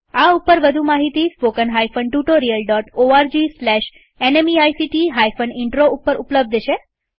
આ ઉપર વધુ માહિતી spoken hyphen tutorial dot O R G slash ન્મેઇક્ટ હાઈફન ઇનટ્રો ઉપર ઉપલબ્ધ છે